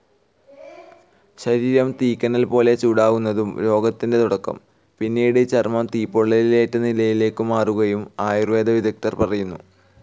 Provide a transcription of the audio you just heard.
ശരീരം തീക്കനൽപോലെ ചൂടാകുന്നതാകും രോഗത്തിൻ്റെ തുടക്കം, പിന്നീട് ചർമം തീപ്പൊള്ളലേറ്റനിലയിലേക്കു മാറുമെന്നും ആയുർവേദ വിദഗ്ദ്ധർ പറയുന്നു.